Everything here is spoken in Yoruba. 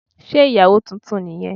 Sé ìyàwó titun ni yẹn